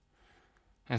en